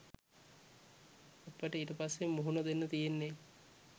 අපට ඊට පස්සේ මුහුණ දෙන්න තියෙන්නේ